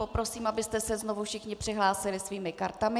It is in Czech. Poprosím, abyste se znovu všichni přihlásili svými kartami.